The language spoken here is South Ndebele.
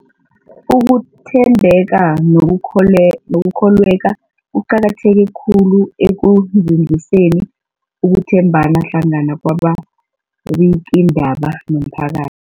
Ukuthembeka nokukholweka kuqakatheke khulu ekunzinziseni ukuthembana hlangana kwababikiindaba nomphakath